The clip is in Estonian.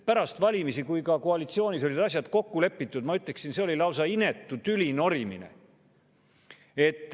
Pärast valimisi, kui ka koalitsioonis olid asjad kokku lepitud, ma ütleksin, oli see lausa inetu tülinorimine.